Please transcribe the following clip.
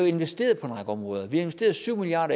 investeret på en række områder vi har investeret syv milliard